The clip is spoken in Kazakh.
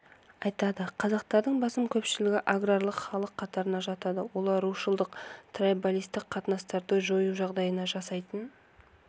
айтады қазақтардың басым көпшілігі аграрлы халық қатарына жатады олар рушылдық трайбалистік қатынастарды жоюға жағдай жасайтын